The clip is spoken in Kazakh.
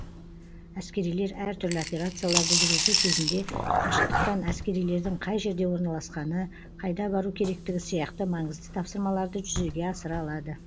әскерилер әртүрлі операцияларды жүргізу кезінде қашықтықтан әскерилердің қай жерде орналасқаны қайда бару керектігі сияқты маңызды тапсырмаларды жүзеге асыра алады